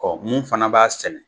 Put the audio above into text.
Ɔ mun fana b'a sɛnɛ